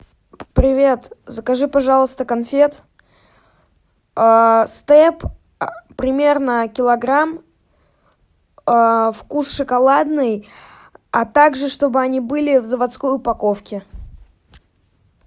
привет закажи пожалуйста конфет степ примерно килограмм вкус шоколадный а также чтобы они были в заводской упаковке